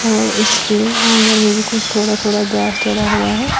और इसके आंगन में भी कुछ थोड़ा थोड़ा घास टेडा हुआ है।